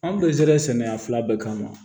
An bɛɛ sera sɛnɛ sɛnɛ bɛɛ kama